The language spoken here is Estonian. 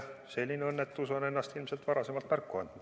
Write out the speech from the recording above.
Selline õnnetus on endast ilmselt varem märku andnud.